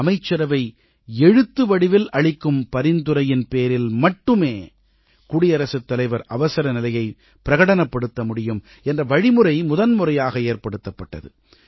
அமைச்சரவை எழுத்து வடிவில் அளிக்கும் பரிந்துரையின் பேரில் மட்டுமே குடியரசுத்தலைவர் அவசரநிலையைப் பிரகடனப்படுத்த முடியும் என்ற வழிமுறை முதன்முறையாக ஏற்படுத்தப்பட்டது